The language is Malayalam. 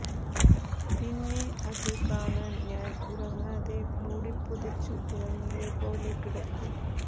പിന്നെ അത് കാണാൻ ഞാൻ ഉറങ്ങാതെ മൂടി പുതച്ചു ഉറങ്ങിയ പോലെ കിടക്കും